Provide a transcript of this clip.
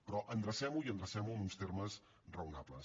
però endrecem ho i endrecem ho amb uns termes raonables